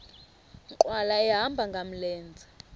nkqwala ehamba ngamlenze